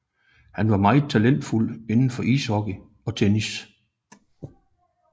Han var meget talentfuld inden for ishockey og tennis